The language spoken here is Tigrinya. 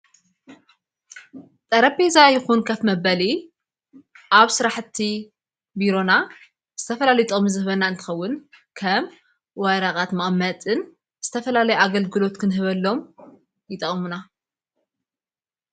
ጠረቤዛ ይኹን ከፍ መበሊ ኣብ ሥራሕቲ ቢሮና ዝተፈላሊጥቅምታት ዘህበና እንትኸውን ከም ወረቀት መቅማጥን ዝተፈላለይ ኣገልግሎት ክንህበሎም ይጠ ቅመና ::